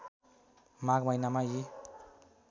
माघ महिनामा यी